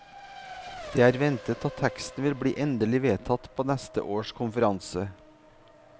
Det er ventet at teksten vil bli endelig vedtatt på neste års konferanse.